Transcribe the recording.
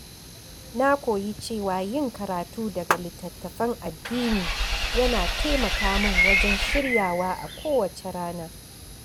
Na koyi cewa yin karatu daga littattafan addini yana taimaka min wajen shirya wa a kowace rana.